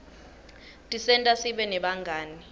tisenta sibe nebangani